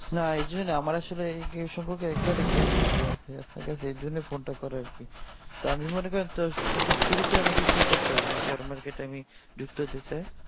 না এইযে আমার আসলে এই সম্পর্কে একবারে জ্ঞান নাই তো এই আপনাকে সেই জন্যেই phone টা করা তা আমি মনে করি তো শুরুতে কি করতে হবে আমাকে share market এ আমি যুক্ত দিচ্ছি